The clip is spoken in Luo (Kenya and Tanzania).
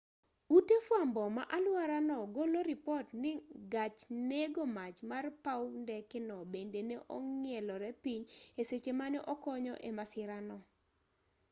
ute fwambo ma alwora no golo ripot ni gach nego mach mar paw ndeke no bende ne ong'ielore piny e seche mane okonyo e masira no